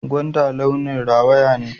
Gwanda launin rawaya ne.